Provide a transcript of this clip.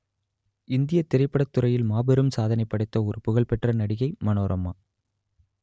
இந்தியத் திரைப்படத்துறையில் மாபெரும் சாதனைப் படைத்த ஒரு புகழ்பெற்ற நடிகை மனோரமா